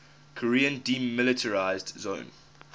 korean demilitarized zone